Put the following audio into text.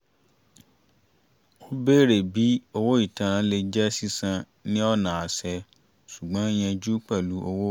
a bèrè bí owó ìtanràn lè jẹ́ sísan ní ọ̀nà àṣẹ ṣùgbọ́n yanjú pẹ̀lú owó